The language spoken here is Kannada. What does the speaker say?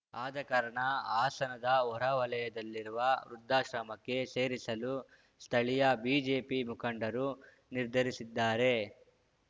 ಆದಕಾರಣ ಹಾಸನದ ಹೊರವಲಯದಲ್ಲಿರುವ ವೃದ್ಧಾಶ್ರಮಕ್ಕೆ ಸೇರಿಸಲು ಸ್ಥಳೀಯ ಬಿಜೆಪಿ ಮುಖಂಡರು ನಿರ್ಧರಿಸಿದ್ದಾರೆ